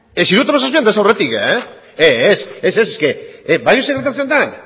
ere ez hirurogeita hamazazpian ez aurretik ez ez badakizu zer gertatzen den